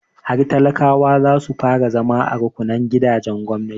Har talakawa za su fara zama a rukunnan gidajen gwamnati.